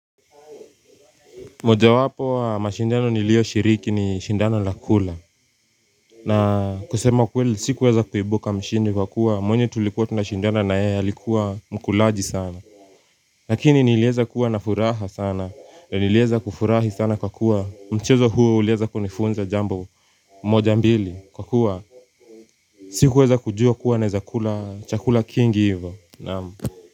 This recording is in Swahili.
Moja wapo mashindano nilio shiriki ni shindano la kula. Na kusema kweli sikuweza kuibuka mshindi kwa kuwa mwenye tulikuwa tunashindana na yeye alikuwa mkulaji sana. Lakini nilieza kuwa na furaha sana na nilieza kufurahi sana kwa kuwa mchezo huu uliweza kunifunza jambo moja mbili kwa kuwa sikuweza kujua kuwa na weza kula chakula kingi hivo. Naam.